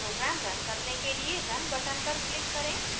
program run करने के लिए run button पर click करें